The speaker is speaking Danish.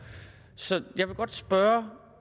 så vil jeg godt spørge